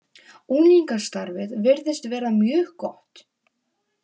Unglingastarfið virðist vera mjög gott.